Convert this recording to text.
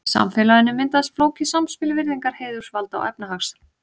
Í samfélaginu myndaðist flókið samspil virðingar, heiðurs, valda og efnahags.